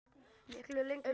Miklu lengri tíma.